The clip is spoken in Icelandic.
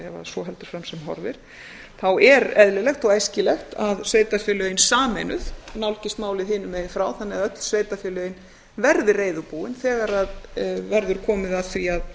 svo heldur fram sem horfir þá er eðlilegt og æskilegt að sveitarfélögin sameinuð nálgist málið hinum megin frá þannig að öll sveitarfélögin verði reiðubúin þegar verður komið að því að